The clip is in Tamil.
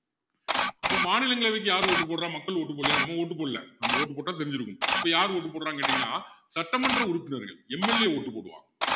இப்போ மாநிலங்களவைக்கு யாரு vote போடுறா மக்கள் vote போடலையா நம்ம vote போடல நம்ம vote போட்டா தெரிஞ்சிருக்கும் அப்போ யாரு vote போடுறாங்கன்னு கேட்டீங்கன்னா சட்டமன்ற உறுப்பினர்கள் MLA vote போடுவாங்க